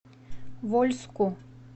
вольску